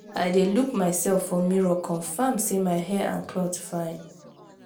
i dey look mysef for mirror confirm sey my hair and my cloth fine.